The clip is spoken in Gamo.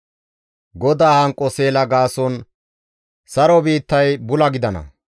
GODAA hanqo seela gaason saro biittay bula gidana.